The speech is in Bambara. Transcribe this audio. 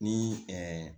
Ni